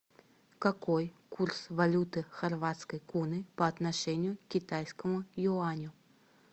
какой курс валюты хорватской куны по отношению к китайскому юаню